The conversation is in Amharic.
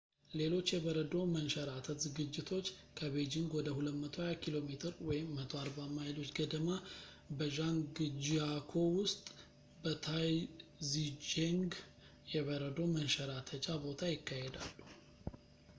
ሌሎች የበረዶ መንሸራተት ዝግጅቶች ከቤጂንግ ወደ 220 ኪሜ 140 ማይሎች ገደማ፣ በዣንግጂያኮ ውስጥ በታይዚቼንግ የበረዶ መንሸራተቻ ቦታ ይካሄዳሉ